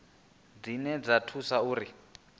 dzine dza ḓo thusa uri